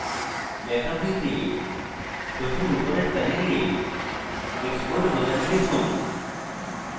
backup নিতে প্রথমে উপরের panel export বোতামে টিপুন